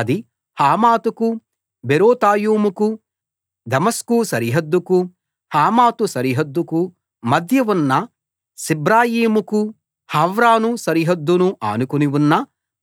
అది హమాతుకు బేరోతాయుకు దమస్కు సరిహద్దుకు హమాతు సరిహద్దుకు మధ్య ఉన్న సిబ్రయీముకు హవ్రాను సరిహద్దును ఆనుకుని ఉన్న